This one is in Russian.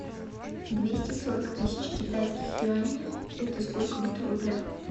двести сорок тысяч китайских юаней это сколько будет в рублях